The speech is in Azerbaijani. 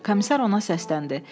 Komissar ona səsləndi.